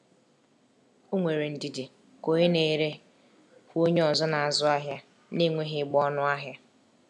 O nwere ndidi ka onye na-ere hụ onye ọzọ n'azụ ahịa na-enweghị ịgba ọnụ ahịa.